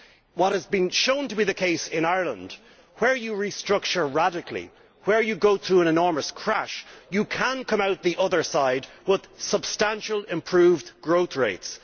What is shown to be the case in Ireland is that where you restructure radically, where you go through an enormous crash, you can come out the other side with substantially improved growth rates.